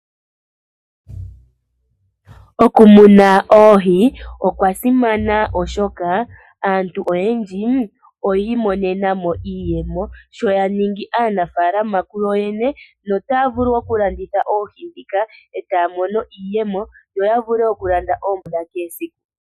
Okumuna oohi, okwasimana oshoka aantu oyendji oyi imonena mo iiyemo, sho ya ningi aanafaalama kuyo yene. No taya vulu okulanditha oohi ndhika eta ya mono iiyemo, ya vule okulanda oompumbwe dha kehe esiku.